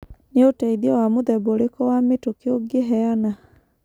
Nĩ ũteithio wa mũthemba ũrĩkũ wa mĩtũkĩ ũngĩheana?